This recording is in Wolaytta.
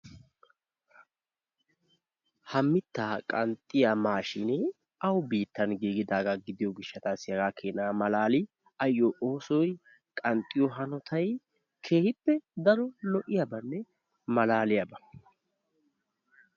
Ha mitaa qanxxiya maashshinee awu biittan giiggidaaga gidiyo gishshatassi hagaa kenna malaali ayo oosoy qanxxiyo hanotay keehippe daro lo'iyabanne malaaliyaba.